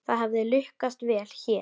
Það hefði lukkast vel hér.